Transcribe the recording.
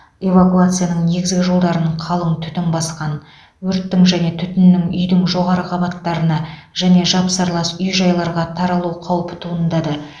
эвакуацияның негізгі жолдарын қалың түтін басқан өрттің және түтіннің үйдің жоғары қабаттарына және жапсарлас үй жайларға таралу қаупі туындады